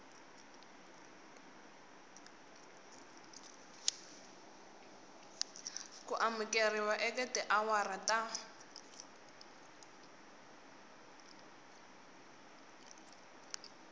ku amukeriwa eka tiawara ta